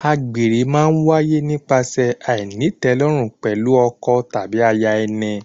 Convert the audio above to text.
Àgbèrè má ń wáyé nípasẹ̀ àìnítẹ̀lórùn pẹ̀lú ọkọ tàbí aya ẹni.